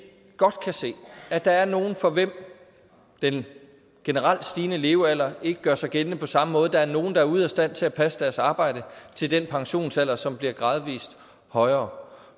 godt kan se at der er nogle for hvem den generelt stigende levealder ikke gør sig gældende på samme måde der er nogle der er ude af stand til at passe deres arbejde til den pensionsalder som bliver gradvist højere